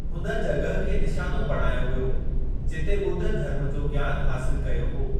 हुन जॻह खे निशानो बणायो वियो जिते ॿुध धर्म जो ज्ञानु हासिल कयो हो।